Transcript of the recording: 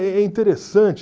É é interessante.